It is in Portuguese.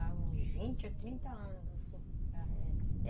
Há uns vinte, trinta anos, assim.